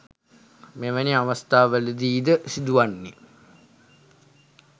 මෙවැනි අවස්ථාවලදී ද සිදු වන්නේ